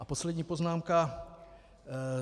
A poslední poznámka.